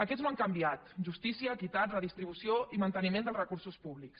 aquests no han canviat justícia equitat redistribució i manteniment dels recursos públics